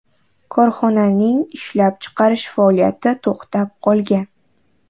Korxonaning ishlab chiqarish faoliyati to‘xtab qolgan.